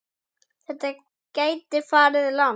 Þetta gæti farið langt.